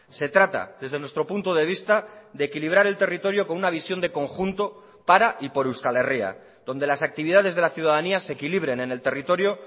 se trata desde nuestro punto de vista de equilibrar el territorio con una visión de conjunto para y por euskal herria donde las actividades de la ciudadanía se equilibren en el territorio